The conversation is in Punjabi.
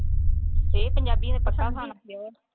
ਇਹ ਪੰਜਾਬੀਆਂ ਦੀ ਪਸੰਦ ਹੁੰਦੀ ਆ।